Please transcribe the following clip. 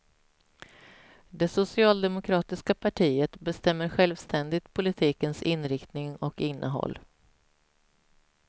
Det socialdemokratiska partiet bestämmer självständigt politikens inriktning och innehåll.